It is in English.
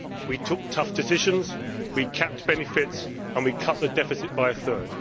We took tough decisions, we capped benefits and we cut the deficit by a third.